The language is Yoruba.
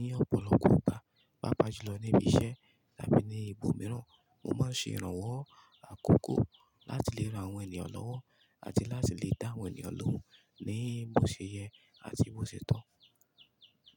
ní ọ̀pọ̀lọpọ̀ ìgbà, pàápàá jùlọ níbi iṣẹ́ tàbí ní ibòmíràn. Mo máa ń ṣe ìrànwọ́ àkókò láti lè ran àwọn ènìyàn lọ́wọ́ àti láti lè dá àwọn ènìyàn lóhùn ní bo ṣe yẹ àti bo ṣe tọ́.